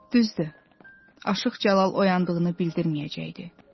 Düzdür, Aşıq Cəlal oyandığını bildirməyəcəkdi.